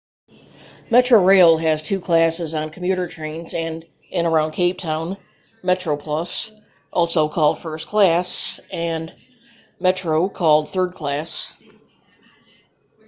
metrorail has two classes on commuter trains in and around cape town: metroplus also called first class and metro called third class